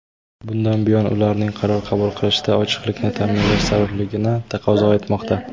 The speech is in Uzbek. bundan buyon ularning qaror qabul qilishida ochiqlikni ta’minlash zarurligini taqozo etmoqda.